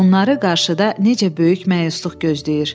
Onları qarşıda necə böyük məyusluq gözləyir.